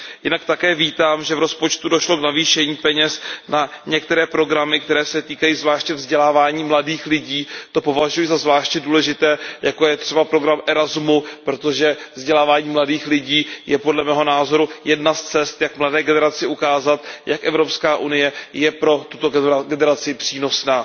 Jinak také vítám, že v rozpočtu došlo k navýšení peněz na některé programy, které se týkají zvláště vzdělávání mladých lidí. To považuji za zvláště důležité, jako je třeba program Erasmus, protože vzdělávání mladých lidí je podle mého názoru jedna z cest, jak mladé generaci ukázat, jak Evropská unie je pro tuto generaci přínosná.